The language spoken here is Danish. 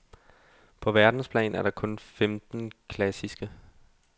På verdensplan er der kun femten klassiske.